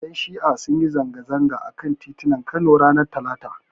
Ƴan Shi'a sun yi zanga-zanga a kan titunan Kano ranar Talata.